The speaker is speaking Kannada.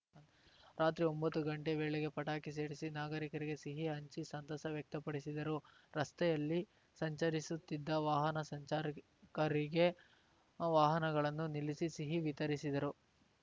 ರಾತ್ರಿ ಒಂಬತ್ತು ಗಂಟೆ ವೇಳೆಗೆ ಪಟಾಕಿ ಸಿಡಿಸಿ ನಾಗರಿಕರಿಗೆ ಸಿಹಿ ಹಂಚಿ ಸಂತಸ ವ್ಯಕ್ತಪಡಿಸಿದರು ರಸ್ತೆಯಲ್ಲಿ ಸಂಚರಿಸುತ್ತಿದ್ದ ವಾಹನ ಸಂಚಾರಕರಿಗೆ ವಾಹನಗಳನ್ನು ನಿಲ್ಲಿಸಿ ಸಿಹಿ ವಿತರಿಸಿದರು